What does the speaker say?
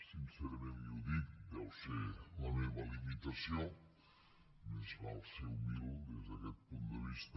sincerament li ho dic deu ser la meva limitació més val ser humil des d’aquest punt de vista